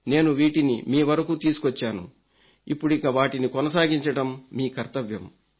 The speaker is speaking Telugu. నేను వీటిని మీ వరకు తీసుకొచ్చాను ఇప్పుడిక వాటిని కొనసాగించడం మీ కర్తవ్యం